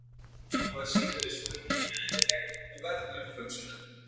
Engu að síður er spurningin eðlileg og verð umhugsunar.